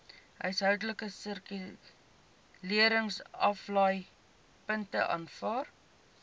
huishoudelike hersirkuleringsaflaaipunte aanvaar